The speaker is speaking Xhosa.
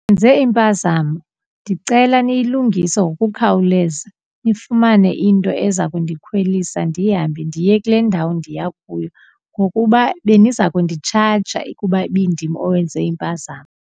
Nenze impazamo, ndicela niyilungise ngokukhawuleza nifumane into eza kundikhwelisa ndihambe ndiye kule ndawo ndiya kuyo ngokuba beniza kunditshaja ukuba ibindim owenze impazamo.